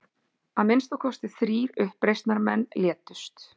Að minnsta kosti þrír uppreisnarmenn létust